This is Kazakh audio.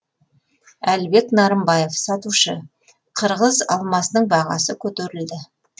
әлібек нарымбаев сатушы қырғыз алмасының бағасы көтерілді